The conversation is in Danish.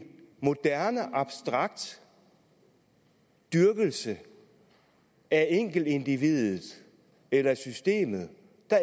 moderne abstrakt dyrkelse af enkeltindividet eller systemet